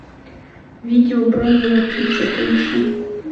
видео бронзовая птица поищи